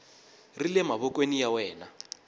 ri le mavokweni ya wena